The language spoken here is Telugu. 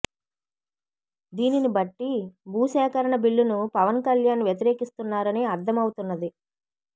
దీనిని బట్టి భూసేకరణ బిల్లును పవన్ కళ్యాణ్ వ్యతిరేకిస్తున్నారని అర్ధం అవుతున్నది